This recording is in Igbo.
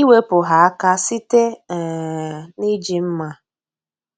iwepụ ha aka site um n’iji mma.